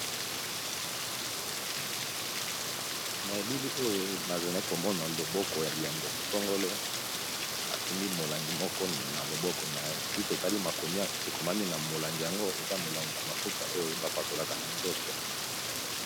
na elili oyo nazale komona loboko ya ndeko sangolo asimbi molangi moko na loboko na si totali makomia ekomami na molangi yango eza molangi ya mafuta oyo bapakolaka na nzoto